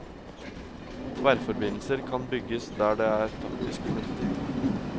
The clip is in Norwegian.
Tverrforbindelser kan bygges der det er taktisk fornuftig.